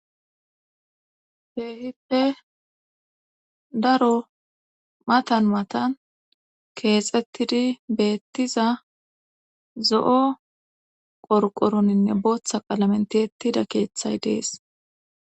Kheehippe daro matan matan keexettidi beettiza zo'o qorqoroninne booththa qalamen tihettida keeththay dees